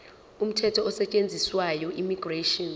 umthetho osetshenziswayo immigration